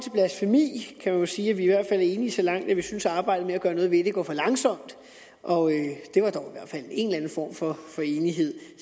blasfemi kan man sige at vi i hvert fald er enige så langt at vi synes at arbejdet med at gøre noget ved det går for langsomt det var dog i hvert fald en eller anden form for enighed